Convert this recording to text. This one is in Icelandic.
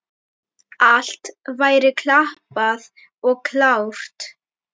Allt væri klappað og klárt.